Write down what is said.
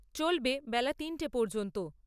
চলবে বেলা তিনটে পর্যন্ত।